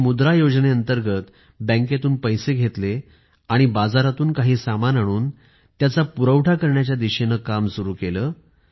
मी मुद्रा योजनेअंतर्गत बँकेतून पैसे घेतले आणि बाजारातून काही सामान आणून त्याचा पुरवठा करण्याच्या दिशेने काम सुरु केले